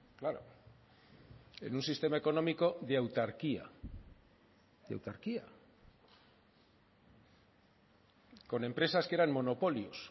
claro en un sistema económico de autarquía de autarquía con empresas que eran monopolios